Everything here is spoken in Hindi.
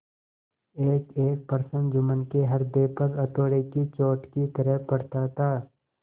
एकएक प्रश्न जुम्मन के हृदय पर हथौड़े की चोट की तरह पड़ता था